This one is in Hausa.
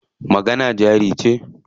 Magana jari ce.